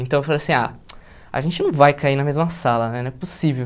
Então, eu falei assim, ah, a gente não vai cair na mesma sala, né, não é possível.